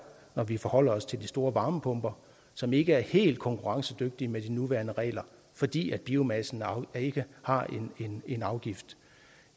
når vi forholder os til de store varmepumper som ikke er helt konkurrencedygtige med de nuværende regler fordi biomassen ikke har en afgift